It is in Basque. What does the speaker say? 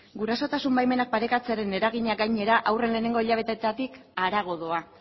gurasotasun baimenak parekatzearen eragina gainera haurren lehenengo hilabeteetatik harago doa